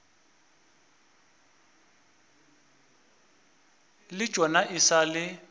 le tšona e sa le